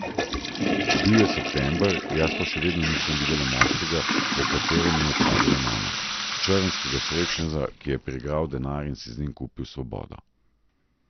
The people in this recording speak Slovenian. Bil je september, jaz pa še vedno nisem videla moškega, o katerem mi je pravila mama, črnskega srečneža, ki je priigral denar in si z njim kupil svobodo.